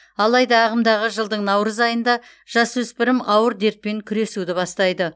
алайда ағымдағы жылдың наурыз айында жасөспірім ауыр дертпен күресуді бастайды